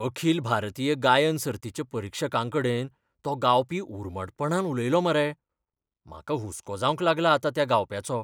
अखिल भारतीय गायन सर्तीच्या परीक्षकांकडेन तो गावपी उर्मटपणान उलयलो मरे, म्हाका हुस्को जावंक लागला आतां त्या गावप्याचो.